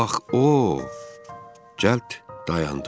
Ax o, cəld dayandım.